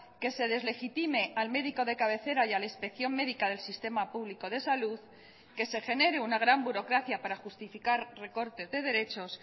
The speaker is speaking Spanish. que se deslegitime al médico de cabecera y a la inspección médica del sistema público de salud que se genere una gran burocracia para justificar recortes de derechos